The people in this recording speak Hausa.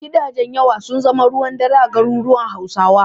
Gidajen yawa sun zama ruwan dare a garuruwan Hausawa.